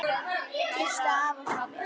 Kysstu afa frá mér.